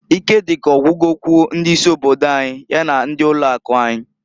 Ike dị ka ogwugokwu ndị isi obodo anyị ya na ndị ụlọ akụ anyị.